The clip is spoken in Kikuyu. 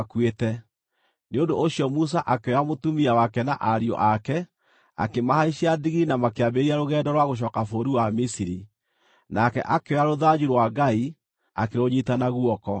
Nĩ ũndũ ũcio Musa akĩoya mũtumia wake na ariũ ake, akĩmahaicia ndigiri na makĩambĩrĩria rũgendo rwa gũcooka bũrũri wa Misiri. Nake akĩoya rũthanju rwa Ngai akĩrũnyiita na guoko.